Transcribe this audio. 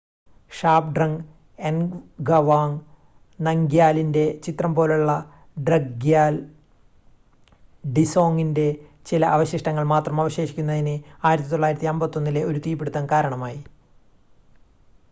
ഷാബ്ഡ്രങ് എൻഗവാങ് നംഗ്യാലിന്റെ ചിത്രം പോലുളള ഡ്രക്ഗ്യാൽ ഡിസോങിന്റെ ചില അവശിഷ്ടങ്ങൾ മാത്രം അവശേഷിക്കുന്നതിന്,1951-ലെ ഒരു തീപിടുത്തം കാരണമായി